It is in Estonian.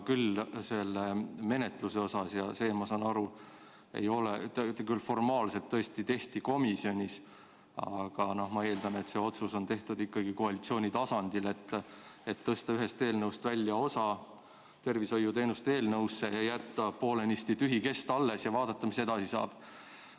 Seda menetlust tehti, nagu ma aru saan, formaalselt küll tõesti komisjonis, aga ma eeldan, et ikkagi koalitsiooni tasandil on tehtud otsus tõsta ühest eelnõust välja üks osa, panna see tervishoiuteenuste eelnõusse, jätta poolenisti tühi kest alles ja vaadata, mis edasi saab.